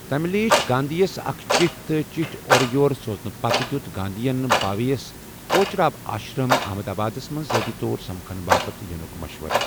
تمہِ لیٖچھ گاندھی یَس اکھ چِٹھ تہٕ چٹھ اورٕ یور سوزنہٕ پتہٕ ، دِیوٗت گاندھی ین بھاوے ہس كوچراب آشرم احمدابادس منز ذٲتی طور سمكھنہٕ باپت یٖنٗك مشورٕ ۔